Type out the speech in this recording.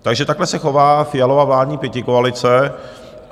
Takže takhle se chová Fialova vládní pětikoalice.